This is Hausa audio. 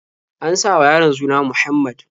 An sa wa yaron suna Muhammad.